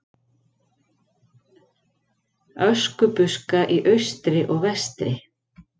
Öskubuska í austri og vestri.